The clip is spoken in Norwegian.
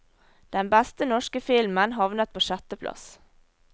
Den beste norske filmen havnet på sjetteplass.